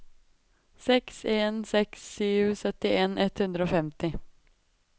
seks en seks sju syttien ett hundre og femti